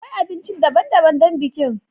Akwai abinci daban-daban don bikin.